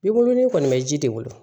I bolo ni kɔni bɛ ji de wolo